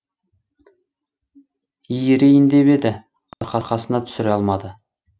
иірейін деп еді арқасына түсіре алмады